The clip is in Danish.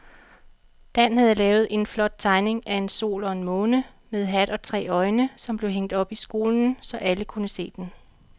Dan havde lavet en flot tegning af en sol og en måne med hat og tre øjne, som blev hængt op i skolen, så alle kunne se den.